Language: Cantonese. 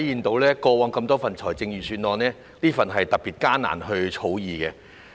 比較過往多份預算案，這份預算案特別難以草擬。